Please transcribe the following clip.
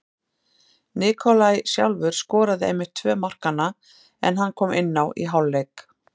Nikolaj sjálfur skoraði einmitt tvö markanna en hann kom inná í hálfleik.